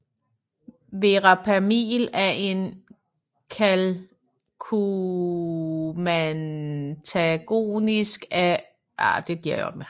Verapamil er en calciumantagonist af phenylalkylamin typen